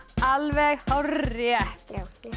alveg hárrétt